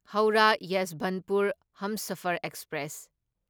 Howrah Yesvantpur Humsafar express